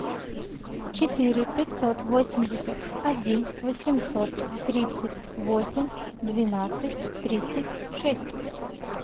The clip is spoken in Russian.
четыре пятьсот восемьдесят один восемьсот тридцать восемь двенадцать тридцать шесть